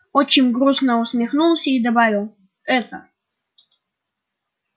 отчим грустно усмехнулся и добавил это